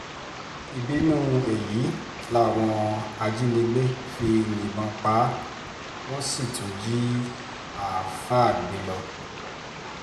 ìbínú èyí làwọn ajínigbé fi yìnbọn pa á wọ́n sì tún jí àáfàá gbé lọ